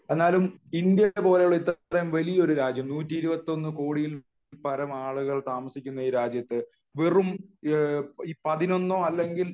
എന്നാലും ഇന്ത്യപോലുള്ള ഇത്ര വലിയ ഒരു രാജ്യം 121 കോടിയിൽപരം ആളുകൾ താമസിക്കുന്ന ഈ രാജ്യത്തു വെറും പതിനൊന്നോ അല്ലെങ്കിൽ